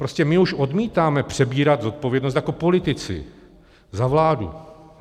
Prostě my už odmítáme přebírat zodpovědnost jako politici za vládu.